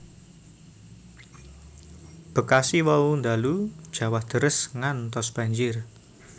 Bekasi wau ndalu jawah deres ngantos banjir